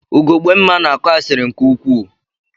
Ugogbemma na-akọ asịrị nke ukwuu.